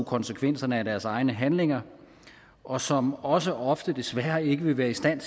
konsekvenserne af deres egne handlinger og som også ofte desværre ikke vil være i stand